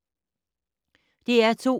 DR2